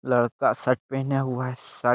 लड़का शर्ट पेहना हुआ है शर्ट --